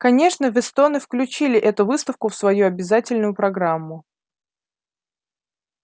конечно вестоны включили эту выставку в свою обязательную программу